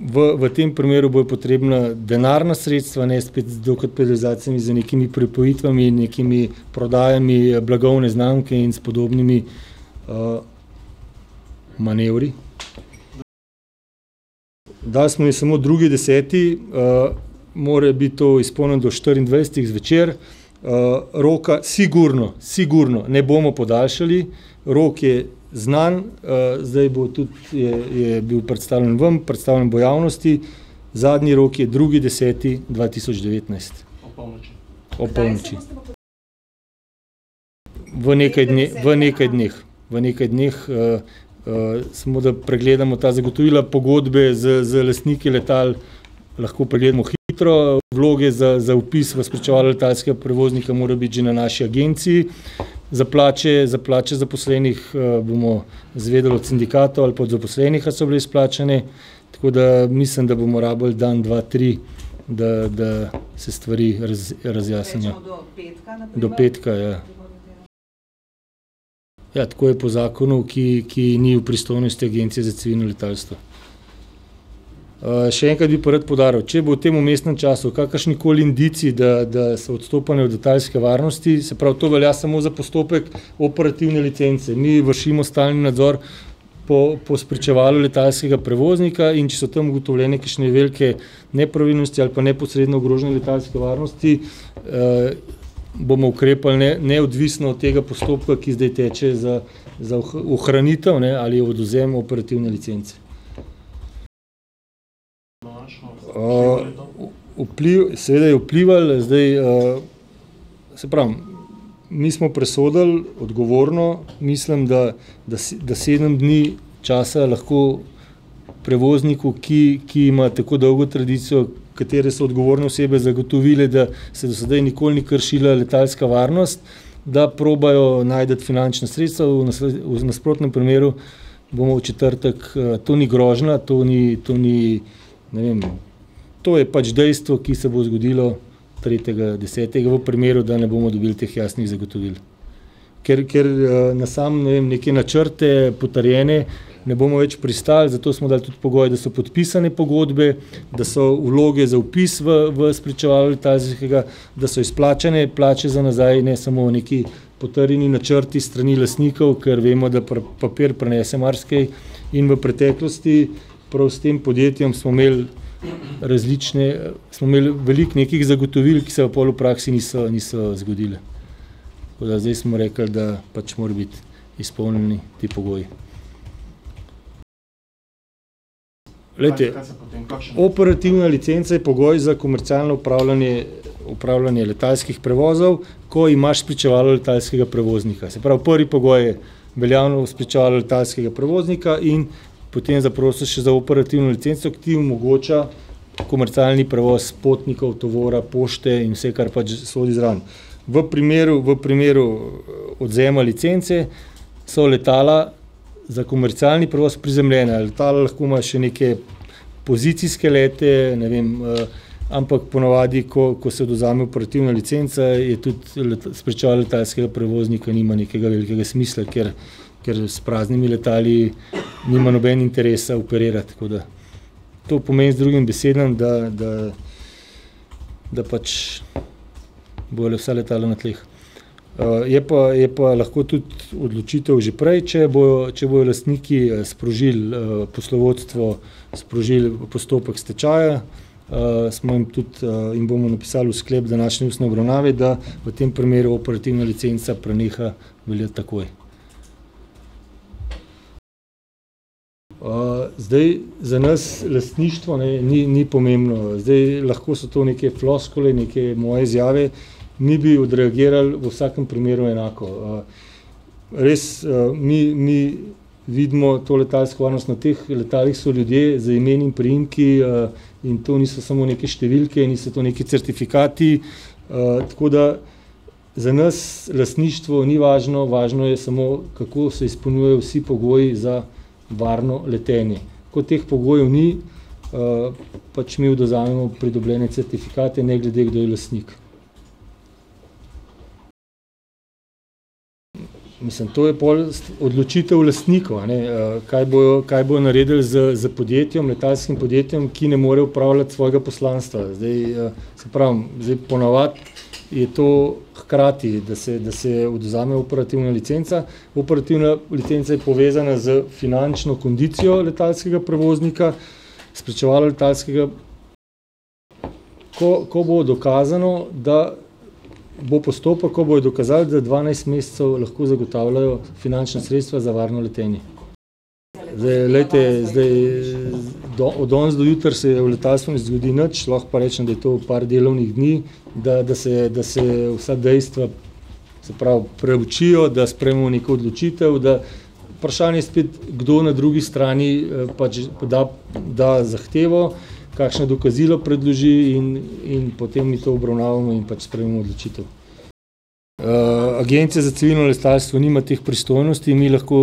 v, v tem primeru bojo potrebna denarna sredstva, ne spet dokapitalizacije z nekimi pripojitvami, nekimi prodajami blagovne znamke in s podobnimi, manevri. Dali smo jim samo drugi deseti, mora biti to izpolnjeno do štiriindvajsetih zvečer. roka sigurno, sigurno ne bomo podaljšali. Rok je znan. zdaj bo tudi, je, je bil predstavljen vam, predstavljen bo javnosti. Zadnji rok je drugi deseti dva tisoč devetnajst. Ob polnoči. V nekaj v nekaj dneh. V nekaj dneh, samo, da pregledamo ta zagotovila pogodbe z, z lastniki letal, lahko pregledamo hitro, vloge za, za vpis v spričevalo letalskega prevoznika morajo biti že na naši agenciji, za plače, za plače zaposlenih, bomo izvedeli od sindikatov ali pa od zaposlenih, ali so bile izplačane. Tako da, mislim, da bomo rabili dan, dva, tri, da, da se stvari razjasnijo. Do petka, ja. Ja, tako je po zakonu, ki, ki ni v pristojnosti Agencije za civilno letalstvo. še enkrat bi pa rad poudaril. Če bojo v tem vmesnem času kakršnikoli indici, da, da so odstopanja od letalske varnosti, se pravi, to velja samo za postopek operativne licence. Mi vršimo stalni nadzor po, po spričevalu letalskega prevoznika, in če so tam ugotovljene kakšne velike nepravilnosti ali pa neposredno ogrožanje letalske varnosti, bomo ukrepali neodvisno od tega postopka, ki zdaj teče, za za ohranitev, ne, ali odvzem operativne licence. vpliv, seveda je vplival. Zdaj, saj pravim, mi smo presodili odgovorno, mislim, da da da sedem dni časa lahko prevozniku, ki, ki ima tako dolgo tradicijo, katere so odgovorne osebe zagotovile, da se do zdaj nikoli ni kršila letalska varnost, da probajo najti finančna sredstva, v v nasprotnem primeru bomo v četrtek, to ni grožnja, to ni, to ni, ne vem, to je pač dejstvo, ki se bo zgodilo tretjega desetega v primeru, da ne bomo dobili teh jasnih zagotovil. Ker, ker, na samo neke načrte potrjene ne bomo več pristali, zato smo dali tudi pogoj, da so podpisane pogodbe, da so vloge za vpis v, v spričevalo letalskega, da so izplačane plače za nazaj, ne samo neki potrjeni načrti s strani lastnikov, ker vemo, da papir prenese marsikaj. In v preteklosti prav s tem podjetjem smo imeli različne, smo imeli veliko nekih zagotovil, ki se pa pol v praksi niso, niso zgodila. Tako da zdaj smo rekli, da pač morajo biti izpolnjeni ti pogoji. Glejte, operativna licenca je pogoj za komercialno opravljanje, opravljanje letalskih prevozov, ko imaš spričevalo letalskega prevoznika. Se pravi, prvi pogoj je veljavno spričevalo letalskega prevoznika in potem zaprosiš še za operativno licenco, ki ti omogoča komercialni prevoz potnikov, tovora, pošte in vse, kar pač sodi zraven. V primeru, v primeru odvzema licence so letala za komercialni prevoz prizemljena. Letalo lahko ima še neke pozicijske lete, ne vem, ampak ponavadi, ko, ko se odvzame operativna licenca, je tudi spričevalo letalskega prevoznika nima nekega velikega smisla, ker, ker s praznimi letali nima noben interesa operirati. Tako da to pomeni z drugim besedami, da, da, da pač bojo vsa letala na tleh. je pa, je pa lahko tudi odločitev že prej, če bojo, če bojo lastniki sprožili, poslovodstvo sprožili postopek stečaja, smo jim tudi, jim bomo napisali v sklep današnje ustne obravnave, da v tem primeru operativna licenca preneha veljati takoj. zdaj, za nas lastništvo, ne, ni, ni pomembno. zdaj, lahko so to neke floskule, neke moje izjave, mi bi odreagirali v vsakem primeru enako. res, mi, mi vidimo to letalsko varnost, na teh letalih so ljudje z imeni in priimki, in to niso samo neke številke in niso to neki certifikati, tako da za nas lastništvo ni važno, važno je samo, kako se izpolnjujejo vsi pogoji za varno letenje. Ko teh pogojev ni, pač mi odvzamemo pridobljene certifikate ne glede, kdo je lastnik. Mislim, to je pol odločitev lastnikov, a ne, kaj bojo, kaj bojo naredili s, s podjetjem, letalskim podjetjem, ki ne more opravljati svojega poslanstva. Zdaj, saj pravim, zdaj ponavadi je to hkrati, da se, da se odvzame operativna licenca, operativna licenca je povezana s finančno kondicijo letalskega prevoznika, spričevalo letalskega ... Ko, ko bo dokazano, da bo postopek, ko bojo dokazali, da dvanajst mesecev lahko zagotavljajo finančna sredstva za varno letenje. Glejte, zdaj, od danes do jutri se v letalstvu ne zgodi nič, lahko pa rečem, da je to par delovnih dni, da, da se, da se vsa dejstva se pravi, preučijo, da sprejmemo neko odločitev, da ... Vprašanje spet, kdo na drugi strani, pač, da, da zahtevo, kakšno dokazilo predloži in, in potem mi to obravnavamo in pač sprejmemo odločitev. Agencija za civilno letalstvo nima teh pristojnosti. Mi lahko,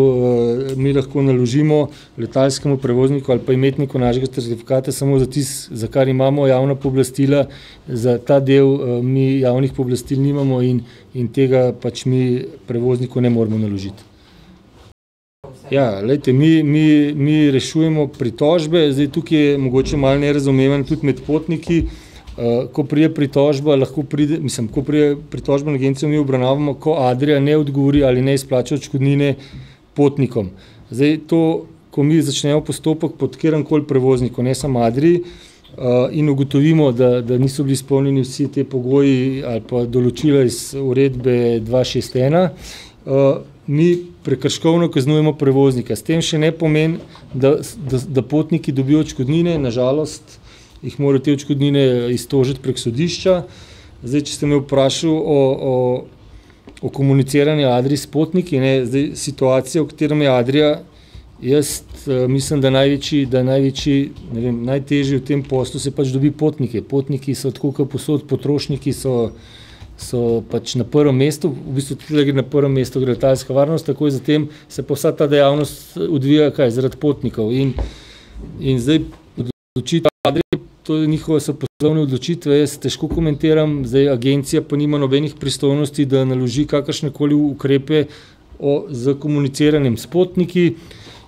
mi lahko naložimo letalskemu prevozniku ali pa imetniku našega certifikata samo za tisto, za kar imamo javna pooblastila, za ta del, mi javnih pooblastil nimamo in, in tega pač mi prevozniku ne moremo naložiti. Ja, glejte, mi, mi, mi rešujemo pritožbe. Zdaj tukaj je mogoče malo nerazumevanje tudi med potniki. ko pride pritožba, lahko pride, mislim, ko pride pritožba na Agencijo, mi obravnavamo, ko Adria ne odgovori ali ne izplača odškodnine potnikom. Zdaj, to, ko mi začnemo postopek proti kateremukoli prevozniku, ne samo Adrii, in ugotovimo, da, da niso bili izpolnjeni vsi ti pogoji ali pa določila iz uredbe dva šest ena, mi prekrškovno kaznujemo prevoznika. S tem še ne pomeni, da da potniki dobijo odškodnine, na žalost jih morajo te odškodnine iztožiti prek sodišča. Zdaj, če ste me vprašal o, o, o komuniciranju Adrie s potniki, ne. Zdaj, situacija, v katerem je Adria, jaz mislim, da največji, da največji, ne vem, najtežje v tem poslu si je pač dobiti potnike. Potniki so tako kot povsod, potrošniki so, so pač na prvem mestu. V bistvu tule je na prvem mestu letalska varnost, takoj za tem se pa vsa ta dejavnost odvija kaj, zaradi potnikov. In in zdaj odločitev Adrije, to je njihove so poslovne odločitve. Jaz težko komentiram. Zdaj, Agencija pa nima nobenih pristojnosti, da naloži kakršnekoli ukrepe o, s komuniciranjem s potniki.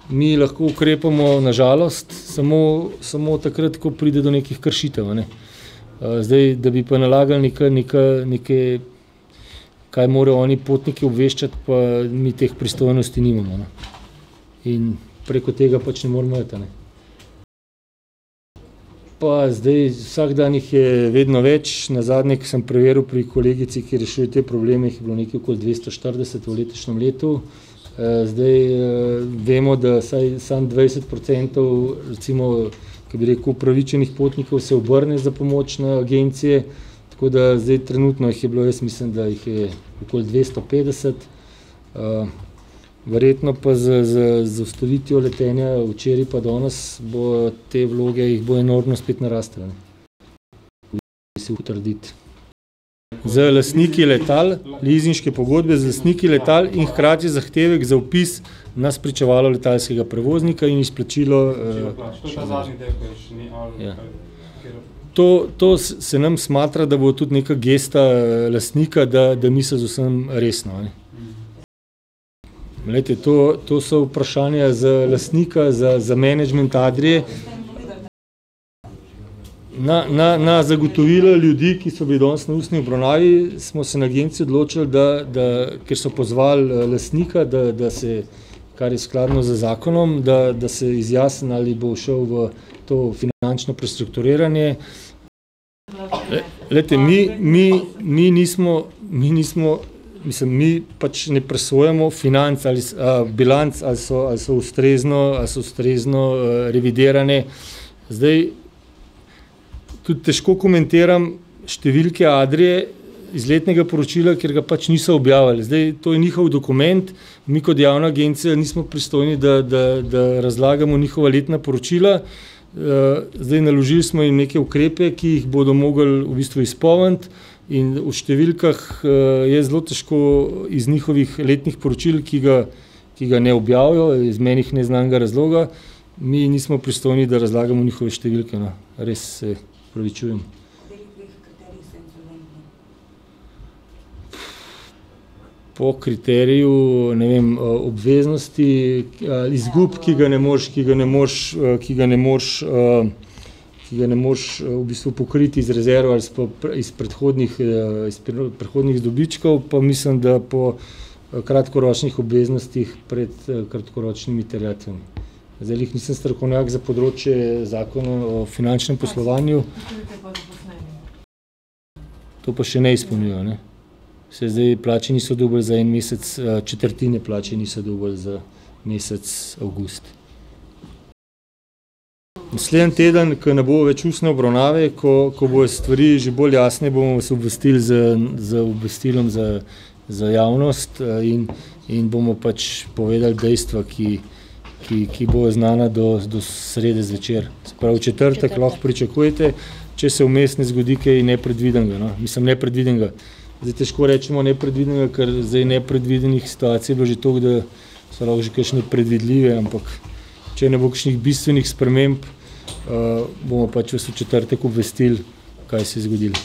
Mi lahko ukrepamo na žalost samo, samo takrat, ko pride do nekih kršitev, a ne. zdaj, da bi pa nalagali neka, neka, neke, kaj morajo oni potnike obveščati, pa mi teh pristojnosti nimamo, no. In preko tega pač ne moramo iti, a ne. Pa zdaj, vsak dan jih je vedno več. Nazadnje, ko sem preveril pri kolegici, ki rešuje te probleme, jih je bilo nekaj okoli dvesto štirideset v letošnjem letu. zdaj, vemo, da vsaj samo dvajset procentov recimo, ke bi rekel, upravičenih potnikov se obrne za pomoč na agencijo, tako da zdaj trenutno jih je bilo, jaz mislim, da jih je okoli dvesto petdeset. verjetno pa z, z, z ustavitvijo letenja včeraj pa danes bojo te vloge, jih ob enormno spet naraslo, ne. Bi si upal trditi. Z lastniki letal, lizinške pogodbe z lastniki letal in hkrati zahtevek za vpis na spričevalo letalskega prevoznika in izplačilo, To, to se nam smatra, da bo tudi neka gesta, lastnika, da, da misli z vsem resno, a ne. Glejte, to, to so vprašanja za lastnika, za, za menedžment Adrie. Na, na, na zagotovila ljudi, ki so bili danes na ustni obravnavi, smo se na Agenciji odločili, da, da, ker so pozvali lastnika, da, da se, kar je skladno z zakonom, da, da se izjasni, ali bo šel v to finančno prestrukturiranje. Glejte, mi, mi, mi nismo, mi nismo, mislim, mi pač ne presojamo financ, ali bilanc, ali so, ali so ustrezno, a so ustrezno, revidirane. Zdaj tudi težko komentiram številke Adrie iz letnega poročila, ker ga pač niso objavili. Zdaj, to je njihov dokument, mi kot javna agencija nismo pristojni, da, da, da razlagamo njihova letna poročila, zdaj, naložili smo jim neke ukrepe, ki jih bodo mogli v bistvu izpolniti. In o številkah, jaz zelo težko iz njihovih letnih poročil, ki ga, ki ga ne objavijo iz meni neznanega razloga, mi nismo pristojni, da razlagamo njihove številke, no. Res se opravičujem. Po kriteriju, ne vem, obveznosti, izgub, ki ga ne moreš, ki ga ne moreš, ki ga ne moreš, ki ga ne moreš, v bistvu pokriti iz rezerve ali pa iz predhodnih, iz predhodnih dobičkov, pa mislim, da po, kratkoročnih obveznostih pred kratkoročnim terjatvami. Zdaj, glih nisem strokovnjak za področje zakonov o finančnem poslovanju, To pa še ne izpolnjujejo, ne. Saj zdaj plače niso dobili za en mesec, četrtine plače niso dobili za mesec avgust. Naslednji teden, ke ne bo več ustne obravnave, ko, ko bojo stvari že bolj jasne, bomo vas obvestili z, z obvestilom za za javnost, in, in bomo pač povedali dejstva, ki, ki, ki bojo znana do, do srede zvečer. Se pravi, v četrtek lahko pričakujete, če se vmes ne zgodi kaj nepredvidenega, no. Mislim, nepredvidenega, zdaj težko rečemo nepredvidenega, ker zdaj nepredvidenih situacij je bilo že toliko, da so lahko že kakšne predvidljive, ampak če ne bo kakšnih bistvenih sprememb, bomo pač vas v četrtek obvestili, kaj se je zgodilo.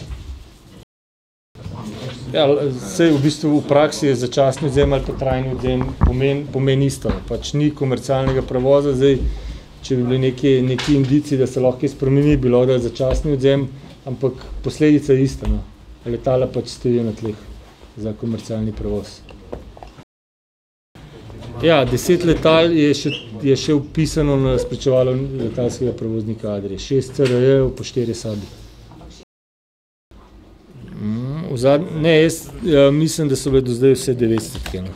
Ja, saj v bistvu v praksi je začasni odvzem ali pa trajni odvzem pomeni, pomeni isto. Pač ni komercialnega prevoza. Zdaj če bi bili neki, neki indici, da se lahko kaj spremeni, bi lahko dali začasni odvzem, ampak posledica je ista, no. Letala pač stojijo na tleh. Za komercialni prevoz. Ja, deset letal je še, je še vpisano na spričevalo letalskega prevoznika Adrie. Šest CRJ-jev pa štirje sebi. v ne, jaz, mislim, da so bile do zdaj vse devetstotke, no.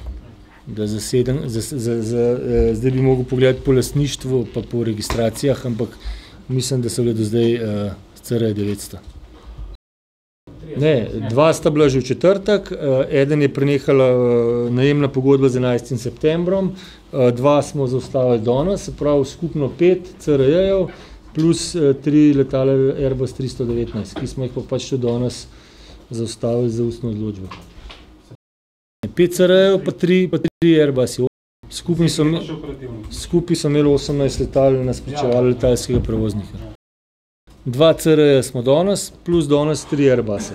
Da za sedem za, za, zdaj bi mogel pogledati po lastništvu pa po registracijah, ampak mislim, da so bile do zdaj, CRJ devetsto. Ne, dva sta bila že v četrtek, eden je prenehala, najemna pogodba z enajstim septembrom, dva smo zaustavili danes. Se pravi, skupno pet CRJ-jev plus, tri letala Airbus tristo devetnajst, ki smo jih pa pač tudi danes zaustavili z ustno odločbo. Pet CRJ-jev pa trije Airbusi, skupaj so ... skupaj so imeli osemnajst letal na spričevalu letalskega prevoznika. Dva CR-ja smo danes, plus danes tri Airbuse.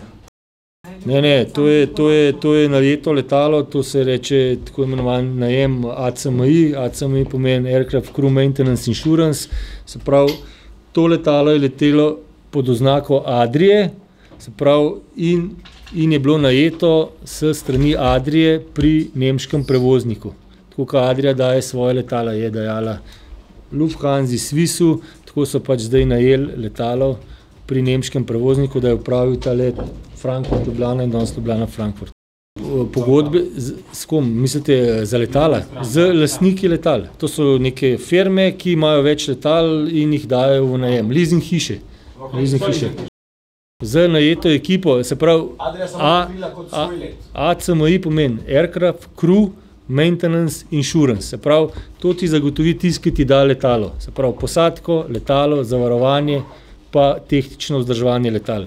Ne, ne. To je, to je, to je najeto letalo. To se reče, tako imenovan najem ACMI. ACMI pomeni Aircraft crew maintenance insurance, se pravi to letalo je letelo pod oznako Adrie, se pravi, in in je bilo najeto s strani Adrie pri nemškem prevozniku. Tako kot Adria daje svoja letala, je dajala Lufthansi, Swissu, tako so pač zdaj najeli letalo pri nemškem prevozniku, da je opravil ta let Frankfurt- Ljubljana in danes Ljubljana-Frankfurt. v ... Z, s kom? Mislite za letala? Z lastniki letal. To so neke firme, ki imajo več letal in jih dajejo v najem. Lizing hiše. Lizing hiše. Z najeto ekipo. Se pravi, ACMI pomeni Aircraft crew maintenance insurance, se pravi, to ti zagotovi tisti, ki ti da letalo, se pravi posadko, letalo, zavarovanje pa tehnično vzdrževanje letal.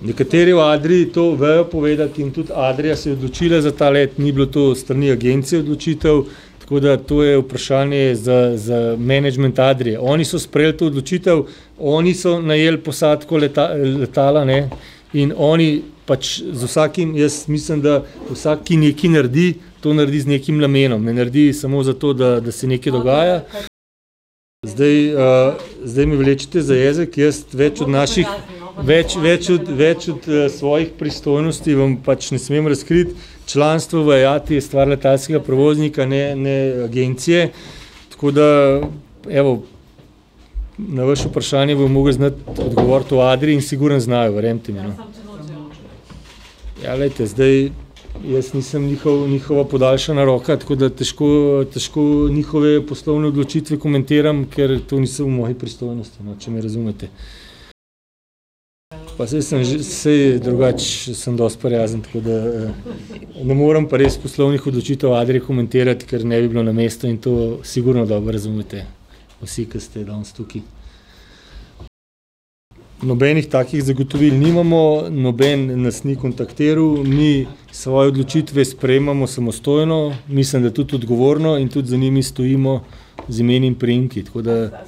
Nekateri v Adrii to vejo povedati in tudi Adria se je odločila za ta let, ni bila to s strani Agencije odločitev. Tako da to je vprašanje za, za menedžment Adrije. Oni so sprejeli to odločitev, oni so najeli posadko letala, ne, in oni pač z vsakim, jaz mislim, da vsak, ki nekaj naredi, to naredi z nekim namenom. Ne naredi samo zato, da, da se nekaj dogaja. Zdaj, zdaj me vlečete za jezik. Jaz več od naših več, več od, več od svojih pristojnosti vam pač ne smem razkriti, članstvo v Iati je stvar letalskega prevoznika, ne, ne Agencije. Tako da, evo, na vaše vprašanje bi mogel znati odgovoriti v Adrii in sigurno znajo, verjemite mi, no. Ja, glejte. Zdaj, jaz nisem njihova podaljšana roka, tako da težko, težko njihove poslovne odločitve komentiram, ker to ni vse v moji pristojnosti, no, če me razumete. Pa saj sem saj drugače sem dosti prijazen, tako da ... Ne morem pa res poslovnih odločitev Adrie komentirati, ker ne bi bilo na mestu in to sigurno dobro razumete vsi, ki ste danes tukaj. Nobenih takih zgotovil nimamo, noben nas ni kontaktiral. Mi svoje odločitve sprejemamo samostojno, mislim da tudi odgovorno in tudi za njimi stojimo z imeni in priimki, tako da ...